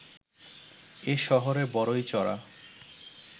এ শহরে বড়ই চড়া